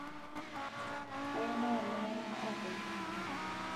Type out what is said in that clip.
kayieu nayengiyanga openy